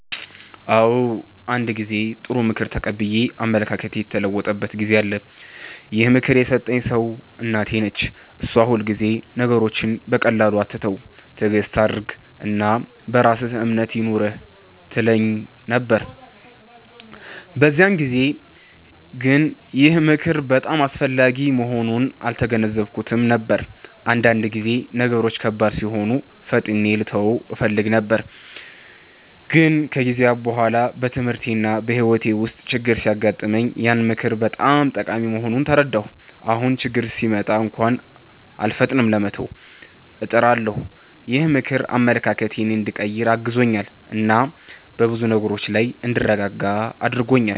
አዎ፣ አንድ ጊዜ ጥሩ ምክር ተቀብዬ አመለካከቴ የተለወጠበት ጊዜ አለ። ይህን ምክር የሰጠኝ ሰው እናቴ ነች። እሷ ሁልጊዜ “ነገሮችን በቀላሉ አትተው፣ ትዕግስት አድርግ እና በራስህ እምነት ይኑርህ” ትለኝ ነበር። በዚያን ጊዜ ግን ይህ ምክር በጣም አስፈላጊ መሆኑን አልተገነዘብኩትም ነበር፤ አንዳንድ ጊዜ ነገሮች ከባድ ሲሆኑ ፈጥኜ ልተው እፈልግ ነበር። ግን ከጊዜ በኋላ በትምህርቴና በሕይወቴ ውስጥ ችግኝ ሲገጥመኝ ያ ምክር በጣም ጠቃሚ መሆኑን ተረዳሁ። አሁን ችግኝ ሲመጣ እንኳን አልፈጥንም ለመተው፣ እጥራለሁ። ይህ ምክር አመለካከቴን እንዲቀይር አግዞኛል እና በብዙ ነገሮች ላይ እንድረጋጋ አድርጎኛል።